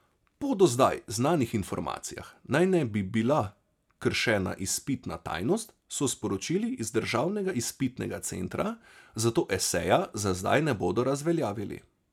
Po do zdaj znanih informacijah naj ne bi bila kršena izpitna tajnost, so sporočili z Državnega izpitnega centra, zato eseja za zdaj ne bodo razveljavili.